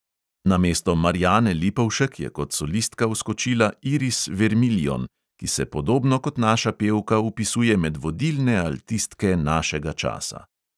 Namesto marjane lipovšek je kot solistka vskočila iris vermillion, ki se podobno kot naša pevka vpisuje med vodilne altistke našega časa.